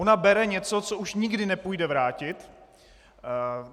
Ona bere něco, co už nikdy nepůjde vrátit.